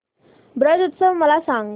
ब्रज उत्सव मला सांग